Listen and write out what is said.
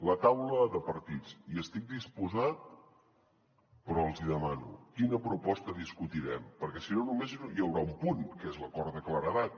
la taula de partits hi estic disposat però els hi demano quina proposta discutirem perquè si no només hi haurà un punt que és l’acord de claredat